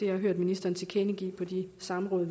har hørt ministeren tilkendegive på de samråd